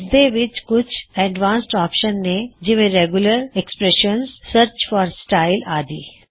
ਇਸਦੇ ਵਿੱਚ ਕੁਛ ਐਡਵਾਨ੍ਸਡ ਆਪ੍ਸ਼ਨ ਨੇ ਜਿਵੇਰੈਗੂਲਰ ਐਕ੍ਸ੍ਪ੍ਰੇਸ਼ਨਸਰਚ ਫੌਰ ਸਟਾਇਲ ਆਦੀ